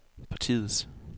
partiets